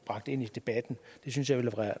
bragt ind i debatten det synes jeg ville